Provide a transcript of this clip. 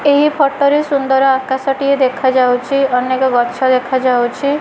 ଏଇ ଫଟୋ ରେ ସୁନ୍ଦର ଆକାଶ ଟିଏ ଦେଖାଯାଉଚି ଅନେକ ଗଛ ଦେଖା ଯାଉଛି।